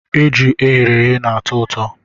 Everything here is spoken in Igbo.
Eju e ghere eghe na-atọ ụtọ.